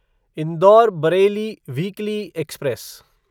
Indore Bareilly weekly express